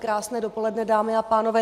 Krásné dopoledne, dámy a pánové.